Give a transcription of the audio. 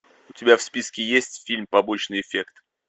у тебя в списке есть фильм побочный эффект